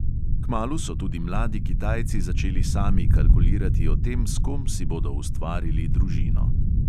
Kmalu so tudi mladi kitajci začeli sami kalkulirati o tem, s kom si bodo ustvarili družino.